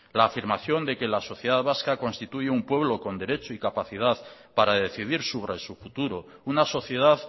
la afirmación de que la sociedad vasca constituye un pueblo con derecho y capacidad para decidir sobre su futuro una sociedad